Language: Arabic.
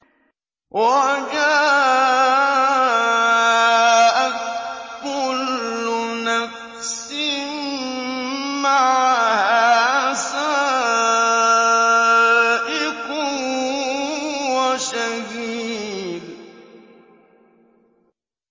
وَجَاءَتْ كُلُّ نَفْسٍ مَّعَهَا سَائِقٌ وَشَهِيدٌ